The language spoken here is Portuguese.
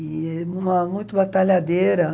E uma muito batalhadeira.